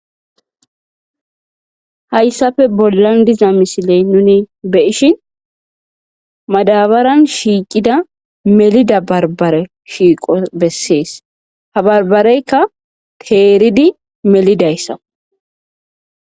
Hayssafe bollan diza misiley nuni beishin madabaran shiiqida melida barbare shiiqo bessees ha barbareykka teeridi melidayssa.